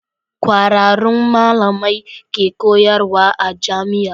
Kwararrun malamai ke koyarwa a jamia